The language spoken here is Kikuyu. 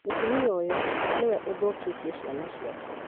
Mũtumia ũyũ nĩwe ũthũkĩtie ciana ciake